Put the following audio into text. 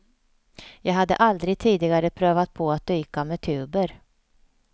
Jag hade aldrig tidigare prövat på att dyka med tuber.